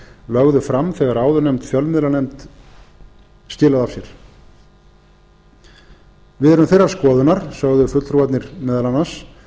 lögðu fram þegar áðurnefnd fjölmiðlanefnd skilaði af sér við erum þeirrar skoðunar sögðu fulltrúarnir meðal annars